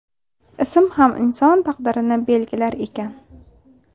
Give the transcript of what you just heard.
Ism ham inson taqdirini belgilar ekan.